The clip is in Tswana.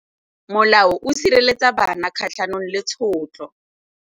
Molao o sireletsa bana kgatlhanong le tshotlo.